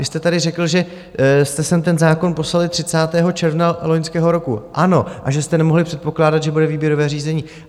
Vy jste tady řekl, že jste sem ten zákon poslali 30. června loňského roku, ano, a že jste nemohli předpokládat, že bude výběrové řízení.